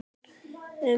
Um mótið